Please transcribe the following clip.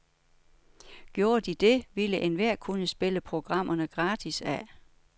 Gjorde de det, ville enhver kunne spille programmerne gratis af.